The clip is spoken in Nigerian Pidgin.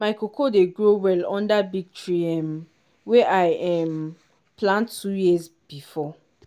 my cocoa dey grow well under big tree um wey i um plant two years before.